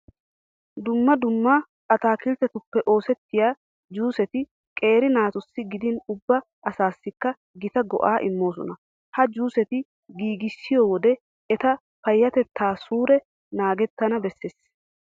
Dumma dumma ataakilttetuppe oosettiya juuseti qeera naatussi gidin ubba asaassikka gita go"aa immoosona. Ha juuseta giigissiyo wode eta payyatettaa suure naagettana bessees.